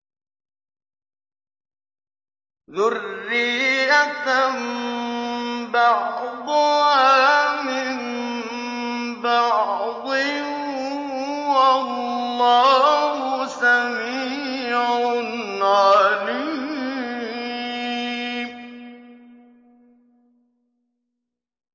ذُرِّيَّةً بَعْضُهَا مِن بَعْضٍ ۗ وَاللَّهُ سَمِيعٌ عَلِيمٌ